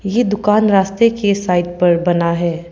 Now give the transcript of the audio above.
ये दुकान रास्ते के साइड पर बना है।